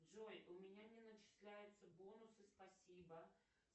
джой у меня не начисляются бонусы спасибо